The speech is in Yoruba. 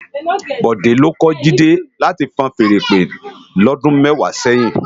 Bode ló kò Jide láti fúùn fèèrè ìpè lòdún mèwá sèyin